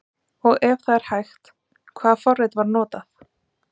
Og ef það er hægt, hvaða forrit var notað?